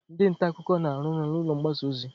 Ndị nta akụkọ na-arụ ọrụ n'ụlọ mgbasa ozi.